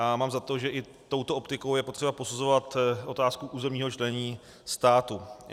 A mám za to, že i touto optikou je potřeba posuzovat otázku územního členění státu.